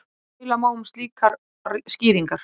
Deila má um slíkar skýringar.